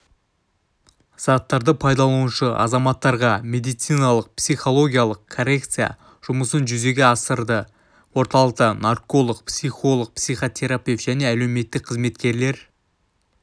заттарды пайдаланушы азаматтарға медициналық-психологиялық коррекция жұмысын жүзеге асырады орталықта нарколог психолог психотерапевт және әлеуметтік қызметкерлер